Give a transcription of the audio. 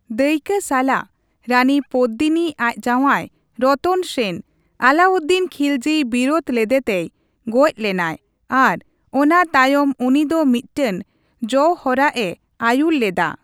ᱫᱟᱹᱭᱠᱟᱹ ᱥᱟᱞᱟᱜ, ᱨᱟᱹᱱᱤ ᱯᱚᱫᱫᱤᱱᱤ ᱟᱡ ᱡᱟᱣᱟᱭ ᱨᱚᱛᱚᱱ ᱥᱮᱱ ᱟᱞᱟᱣᱩᱫᱫᱤᱱ ᱠᱷᱤᱞᱡᱤᱭ ᱵᱤᱨᱩᱫᱷ ᱞᱮᱫᱮᱛᱮᱭ ᱜᱚᱡᱽ ᱞᱮᱱᱟᱭ ᱟᱨ ᱚᱱᱟ ᱛᱟᱭᱚᱢ ᱩᱱᱤ ᱫᱚ ᱢᱤᱫᱴᱟᱝ ᱡᱚᱣᱦᱚᱨᱟᱜᱼᱮ ᱟᱹᱭᱩᱨ ᱞᱮᱫᱟ ᱾